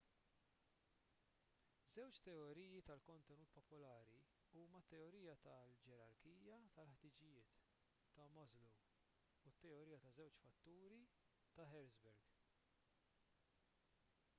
żewġ teoriji tal-kontenut popolari huma t-teorija tal-ġerarkija tal-ħtiġijiet ta' maslow u t-teorija taż-żewġ fatturi ta' hertzberg